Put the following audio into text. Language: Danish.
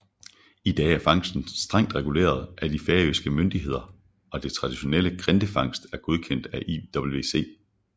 I dag er fangsten strengt reguleret af de færøske myndigheder og det traditionelle grindefangst er godkendt af IWC